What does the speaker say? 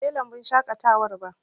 Yau ban je lambun shaƙatawar ba